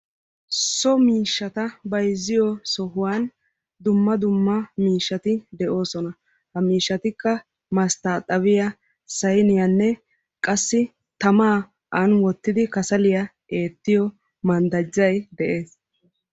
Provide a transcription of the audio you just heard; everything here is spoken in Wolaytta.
so miishshata bayzziyo sohuwan dumma dumma miishshati de'oosona. ha miishatikka mastaaxabiya, sayniyaanne qassi tamaa ani wottidi kasaliya eettiyo manddajay de'ees.